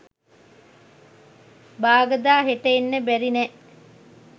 "බාගදා හෙට එන්න බැරි නෑ"